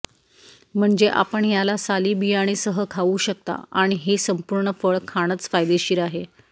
म्हणजे आपण ह्याला साली बियाणे सह खाऊ शकता आणि हे संपूर्ण फळ खाणच फायदेशीर आहे